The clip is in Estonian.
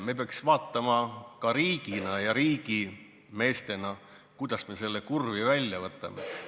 Me peaks ka riigina ja riigimeestena vaatama, kuidas me selle kurvi välja võtame.